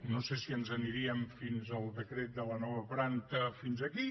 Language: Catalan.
no sé si ens n’aniríem fins al decret de la nova planta fins aquí